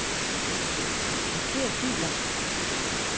Marker filer.